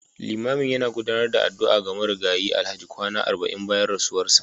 Limamin yana gudanar da addu'a ga Marigayi Alhaji kwana arba'in bayan rasuwarsa